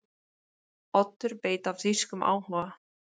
Oddur veit af þýskum áhuga